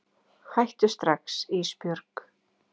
Hættu strax Ísbjörg.